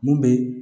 Mun bɛ